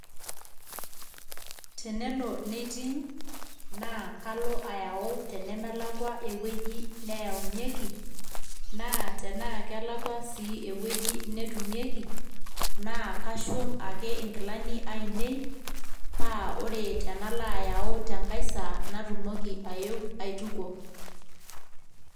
tenelo neiting ,naa kalo ayau tenemelakua ewueji neyaunyieki, naa tenaa kelakua sii ewueji netumieki naa kashum ake inkilani ainei, naa ore tenalo ayau tenkae saa natumoki ayeu aitukuo.